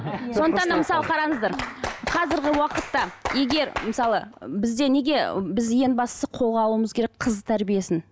мысалы қараңыздар қазіргі уақытта егер мысалы бізде неге ы біз ең бастысы қолға алуымыз керек қыз тәрбиесін